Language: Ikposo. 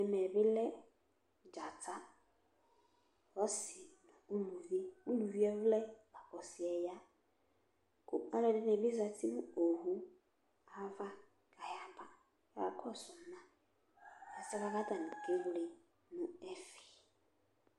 ɛmɛ bi lɛ dzata ɔsi uluvi uluvi yɛ vlɛ la kò ɔsi yɛ ya kò alo ɛdini bi zati no owu ava k'aya ba k'aka kɔsu ma ɛsɛ boa k'atani kewle no ɛfɛ